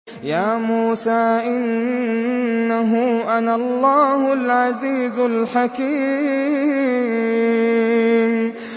يَا مُوسَىٰ إِنَّهُ أَنَا اللَّهُ الْعَزِيزُ الْحَكِيمُ